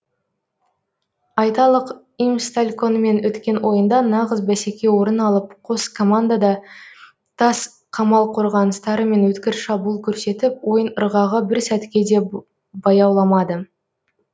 айталық имстальконмен өткен ойында нағыз бәсеке орын алып қос команда да тас қамал қорғаныстары мен өткір шабуыл көрсетіп ойын ырғағы бір сәтке де баяуламады